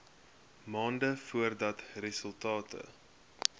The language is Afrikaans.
maande voordat resultate